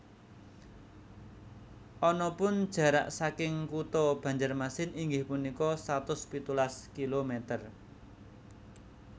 Anapun jarak saking kuto Banjarmasin inggih punika satus pitulas kilometer